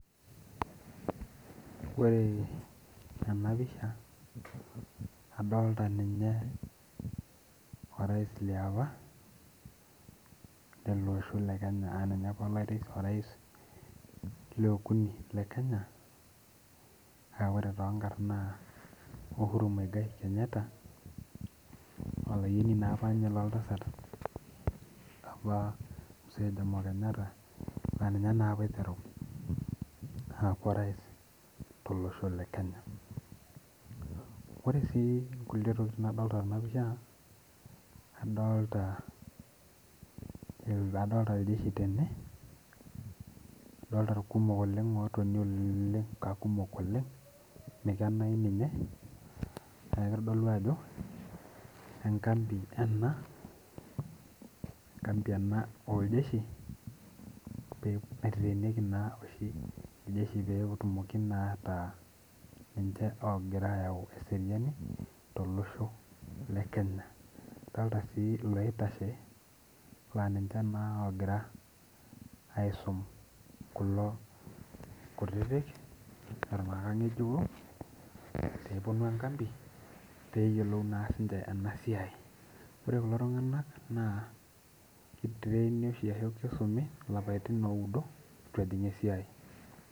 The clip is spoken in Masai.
Ore ena pisha, adolita ninye orais liapa, lelo osho le Kenya aa ninye apa orais le okuni le Kenya aa ore too nkarn naa Uhuru Muigai Kenyatta, olayioni naa apa ninye lo oltasat apa msee Jomo Kenyatta aa ninye taa apa oiteru aku orais to losho le Kenya. Ore sii nkulie tokitin nadolita tena pisha adolita iljeshi tene adolitai irkumok oleng' otoni aa kumok oleng' mikenayu ninye, neeku kitodolu ajo enkapi ena enkapi ena oo iljeshi, oiteng'enieki naa oshi iljeshi petumoki naa ata ninche logira ayau eseriani too losho le Kenya. Adolita sii loitashe laa ninche naa ogira aisum kulo kutitik leton aa keing'ejiko pepuonu enkapi peyiolou naa sii ninche ena siai. Ore kulo tung'ana naa kiitraini oshi ashu kisumi ilapaitin oudo pejing' esiai.